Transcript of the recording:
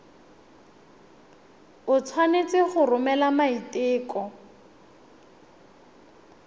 o tshwanetse go romela maiteko